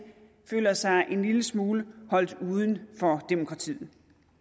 føler sig en lille smule holdt uden for demokratiet